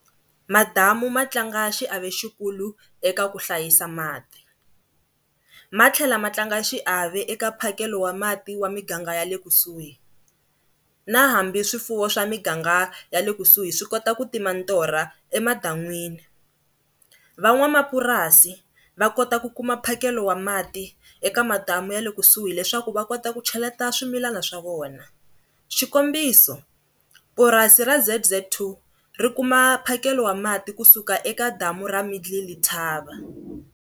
Madamu ma tlanga xiave xikulu eka ku hlayisa mati, matlhela ma tlanga xiave eka mphakelo wa mati wa miganga ya le kusuhi na hambi swifuwo swa miganga ya le kusuhi swi kota ku tima torha emadan'wini. Van'wamapurasi va kota ku kuma mphakelo wa mati eka madamu ya le kusuhi leswaku va kota ku cheleta swimilana swa vona, xikombiso purasi ra Z_Z two ri kuma mphakelo wa mati kusuka eka damu ra Middle Letaba.